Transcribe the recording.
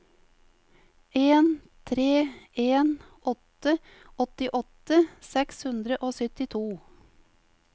en tre en åtte åttiåtte seks hundre og syttito